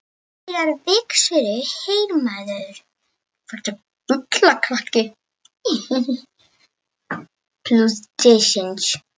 Þegiðu Vigfús heyrnarlausi.